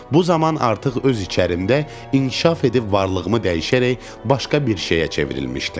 Bu zaman artıq öz içərimdə inkişaf edib varlığımı dəyişərək başqa bir şeyə çevrilmişdim.